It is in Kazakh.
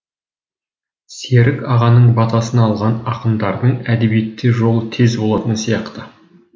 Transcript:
серік ағаның батасын алған ақындардың әдебиетте жолы тез болатын сияқты